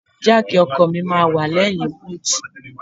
Jáàkì ọkọ̀ mi máa wà lẹ́yìn búùtù.